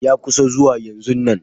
Ya kusa zuwa yanzonnan.